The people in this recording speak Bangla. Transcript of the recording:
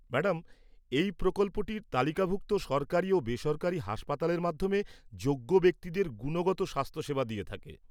ম্যাডাম, এই প্রকল্পটি তালিকাভুক্ত সরকারি ও বেসরকারি হাসপাতালের মাধ্যমে যোগ্য ব্যক্তিদের গুণগত স্বাস্থ্যসেবা দিয়ে থাকে।